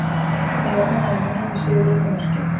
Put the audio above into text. En ég er ánægður núna, með sigurinn og mörkin.